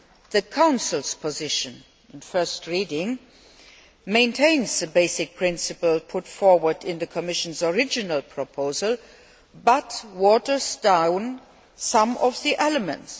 The Council's position at first reading maintains the basic principle put forward in the Commission's original proposal but waters down some of the elements.